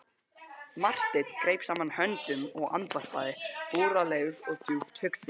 Marteinn greip saman höndum og andvarpaði, búralegur og djúpt hugsi.